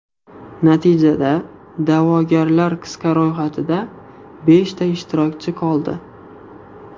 Natijada da’vogarlar qisqa ro‘yxatida beshta ishtirokchi qoldi.